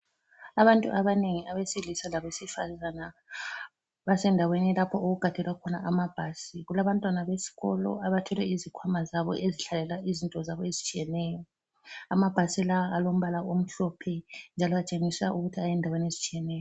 Abantu abanengi abesilisa labesifazane basendaweni lapho okugadelwa khona amabhasi. Kulabantwana besikolo abathwele izikhwama zabo ezithwalelwa izinto zabo ezitshiyeneyo. Amabhasi lawa alombala omhlophe njalo atshengisa ukuthi ayendaweni ezitshiyeneyo.